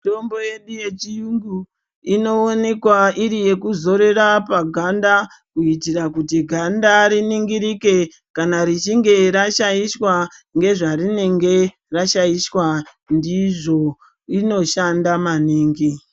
Mitombo yedu yechiyungu inowonekwa iri yekuzorera paganda kuitira kuti ganda riningirike kana richinge rashaishwa ngezvarinenge rashaishwa ndizvo inoshanda maningi.